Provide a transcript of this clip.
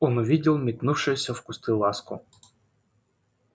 он увидел метнувшуюся в кусты ласку